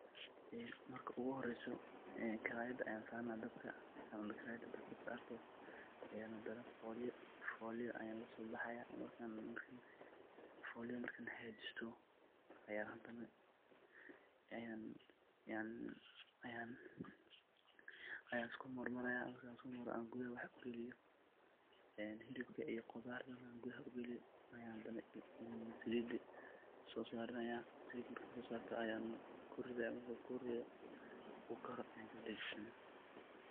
Marki ugu horeysoh karayada Aya saranaya dhabaka, marka dhabkas sartoh Aya handanah hoyla kasobaxaya foolya marka hakajiistoh, Ayan iskumarmaraya marka isku marmaroh, an kutha wax ugaliyoh Aya helibka qothar kuthar ugaliyoh Aya Salida sosarayana saalit marka so sartoh Ayan kurithaya marka kurithoh oo karoh Aya kadajisanah.